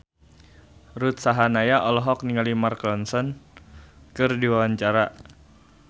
Ruth Sahanaya olohok ningali Mark Ronson keur diwawancara